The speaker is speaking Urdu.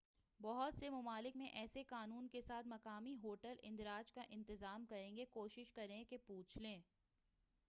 بہت سے مُمالک میں ایسے قانون کے ساتھ، مقامی ہوٹل اندراج کا انتظام کریں گے کوشش کریں کہ پُوچھ لیں